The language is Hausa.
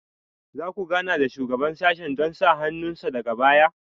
Za ku gana da Shugaban sashen don sa hannun sa daga baya?